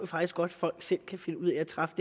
faktisk godt folk selv kan finde ud af træffe